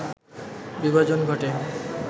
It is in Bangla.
বিভাজন ঘটে